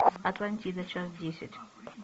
атлантида часть десять